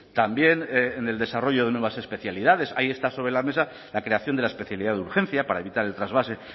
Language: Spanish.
también en el desarrollo de nuevas especialidades ahí está sobre la mesa la creación de la especialidad de urgencia para evitar el trasvase